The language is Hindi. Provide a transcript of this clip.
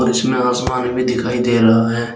इसमें आसमान भी दिखाई दे रहा है।